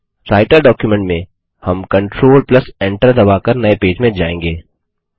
writer document में हम control Enter दबाकर नये पेज में जायेंगे